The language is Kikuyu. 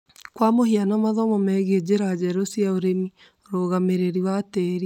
Kwa mũhiano, mathomo megie njĩra njerũ cia ũrĩmi, ũrũgamĩrĩri wa tĩri,